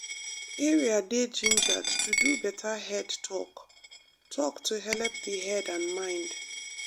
area dey gingered to do better head talk-talk to helep the head and mind.